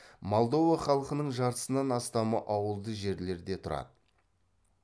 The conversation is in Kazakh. молдова халқының жартысынан астамы ауылды жерлерде тұрады